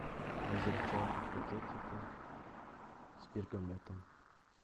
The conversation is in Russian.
азерчай в пакетиках с бергамотом